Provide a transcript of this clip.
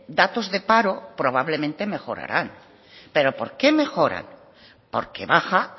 datos de paro probablemente mejorarán pero por qué mejoran porque baja